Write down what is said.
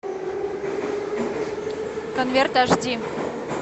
конверт аш ди